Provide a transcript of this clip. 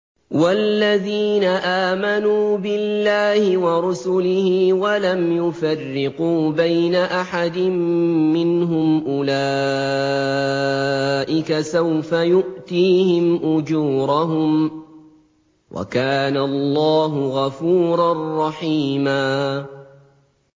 وَالَّذِينَ آمَنُوا بِاللَّهِ وَرُسُلِهِ وَلَمْ يُفَرِّقُوا بَيْنَ أَحَدٍ مِّنْهُمْ أُولَٰئِكَ سَوْفَ يُؤْتِيهِمْ أُجُورَهُمْ ۗ وَكَانَ اللَّهُ غَفُورًا رَّحِيمًا